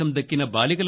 పతాకావిష్కరణకు